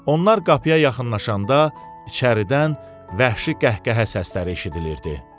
Onlar qapıya yaxınlaşanda içəridən vəhşi qəhqəhə səsləri eşidilirdi.